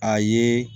A ye